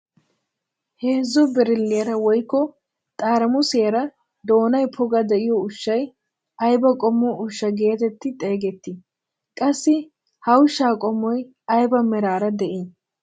Heezzu birilliyaara woykko xaraamusiyaara doonay poga de'iyoo ushshay ayba qommo ushshaa getetti xeegettii? qassi ha ushshaa qommoy ayba meraara de'ii?